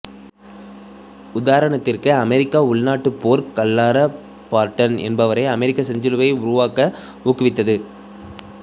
உதாரணத்திற்கு அமெரிக்க உள்நாட்டுப் போர் க்லரா பார்டன் என்பவரை அமெரிக்க செஞ்சிலுவையை உருவாக்க ஊக்குவித்தது